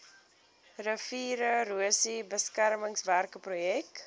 riviererosie beskermingswerke projek